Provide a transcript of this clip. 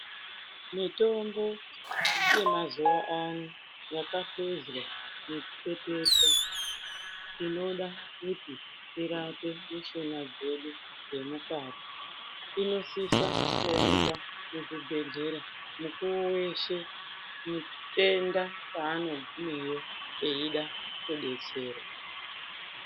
Mutombo yemazuwaano, yakahluzwa nekupepetwa inoda kuti irape mishuna dzedu dzemukati ,inosisa kuoneka muzvibhedhlera mukuwo weshe, nekutenda kwaanogumeyo eida rudetsero.